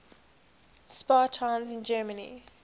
spa towns in germany